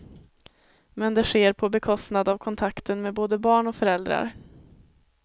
Men det sker på bekostnad av kontakten med både barn och föräldrar.